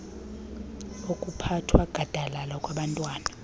okuphathwa gadalala kwabantwana